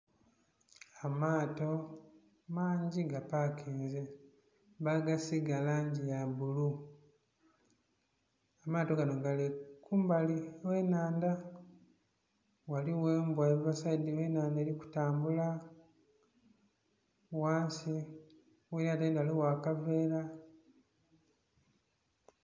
Amaato mangi gapakinze bagasiiga langi ya bbulu amaato ganho gali kumbali gh'ennhandha, ghaligho embwa eva sayidi ghe nnhandha eri kutambula, ghansi ghe elyato erindhi ghaligho akaveera.